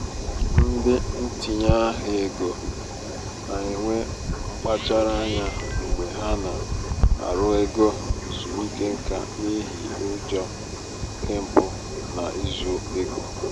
ndị ntinye ahịa ego na-enwe mkpachara anya mgbe ha na- arụ ego ezumike nká n'ihi ụjọ nke mpụ na izu ego.